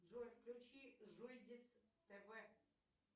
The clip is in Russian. джой включи жульдис тв